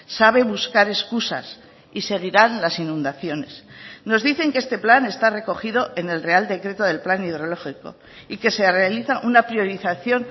sabe buscar excusas y seguirán las inundaciones nos dicen que este plan está recogido en el real decreto del plan hidrológico y que se realiza una priorización